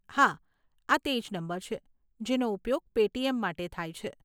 હા, આ તે જ નંબર છે જેનો ઉપયોગ પેટીએમ માટે થાય છે.